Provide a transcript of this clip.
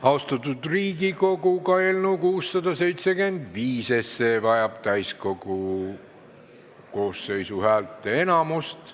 Austatud Riigikogu, ka eelnõu 675 vajab täiskogu koosseisu häälteenamust.